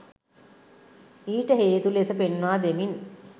ඊට හේතු ලෙස පෙන්වා දෙමින්